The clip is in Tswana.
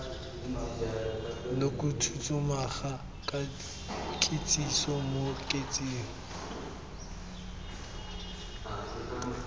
mokhuduthamaga ka kitsiso mo kaseteng